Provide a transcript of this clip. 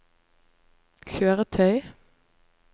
kjøretøy